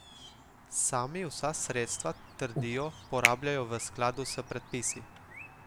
Sami vsa sredstva, trdijo, porabljajo v skladu s predpisi.